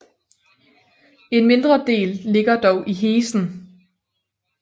En mindre del ligger dog i Hessen